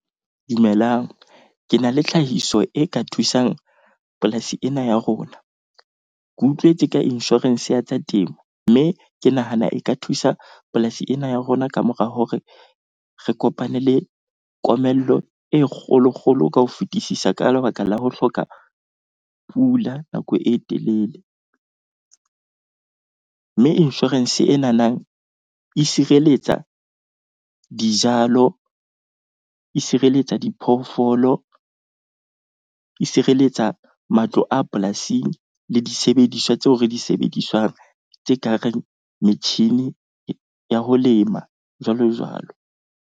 Dumelang, ke na le tlhahiso e ka thusang polasi ena ya rona. Ke utlwetse ka insurance ya tsa temo. Mme ke nahana e ka thusa polasi ena ya rona ka mora hore re kopane le komello e kgolokgolo ka ho fetisisa ka lebaka la ho hloka pula nako e telele. Mme insurance e nanang e sireletsa dijalo, e sireletsa diphoofolo, e sireletsa matlo a polasing le disebediswa tseo re di sebedisang tse ka reng metjhini ya ho lema, jwalojwalo.